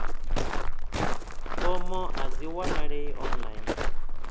fomo a dzi wanalei online